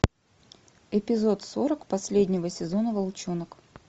эпизод сорок последнего сезона волчонок